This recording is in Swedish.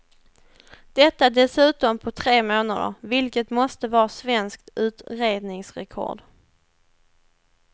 Detta dessutom på tre månader, vilket måste vara svenskt utredningsrekord.